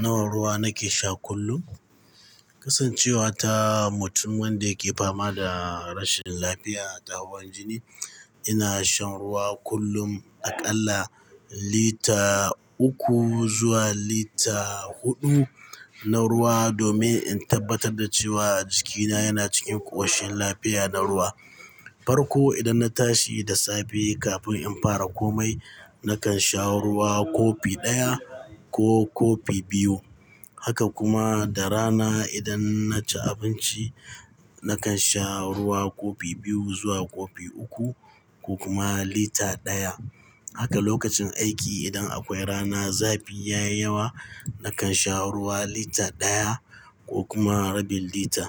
Nawa ruwa nake sha kullum? Kasancewa ta mutum wanda yake fama da rashin lafiya ta hawan jini, ina shan ruwa kullum aƙalla lita uku zuwa lita huɗu na ruwa domin in tabbatar da cewa jikina yana cikin ƙo shin lafiya da ruwa. Farko idan na tashi da safe kafin in fara komai, nakan sha ruwa kofi ɗaya ko kofi biyu. Haka kuma da rana idan naci abinci, nakan sha ruwa kofi biyu zuwa kofi uku ko kuma lita ɗaya. Haka lokacin aiki idan akwai rana zafi ya yi yawa, nakan sha ruwa lita ɗaya ko kuma rabil lita.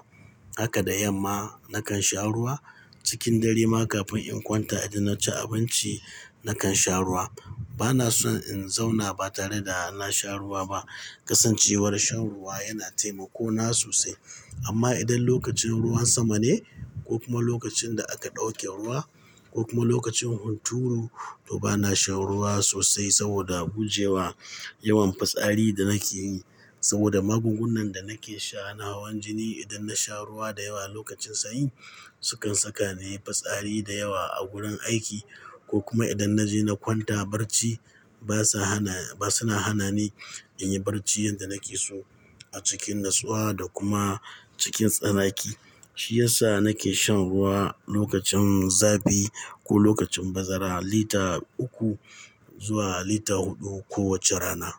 Haka da yamma nakan sha ruwa. Cikin dare ma kafin in kwanta idan naci abinci nakan sha ruwa. Bana son in zauna ba tare da na sha ruwa ba. Kasancewar shan ruwa yana taimako na sosai. Amma idan lokacin ruwan sama ne ko kuma lokacin da aka ɗauke ruwa ko kuma lokacin hunturu, to bana shan ruwa sosai saboda gujewa yawan fitsari da nake yi saboda magungunan da nake sha na hawan jini. Idan na sha ruwa da yawa a lokacin sanyi, sukan saka nayi fitsari da yawa a gurin aiki ko kuma idan naje na kwanta barci basa hana, ba suna hana ni in yi barci yadda nake so a cikin nutsuwa da kuma cikin tsanaki. Shi yasa nake shan ruwa lokacin zafi ko lokacin bazara lita uku zuwa lita huɗu kowace rana.